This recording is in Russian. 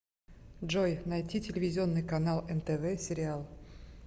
джой найти телевизионный канал нтв сериал